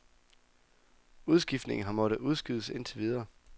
Udskiftningen har måttet udskydes indtil videre.